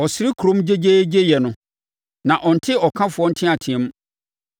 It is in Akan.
Ɔsere kurom gyegyeegyeyɛ no; na ɔnte ɔkafoɔ nteateam.